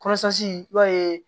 i b'a ye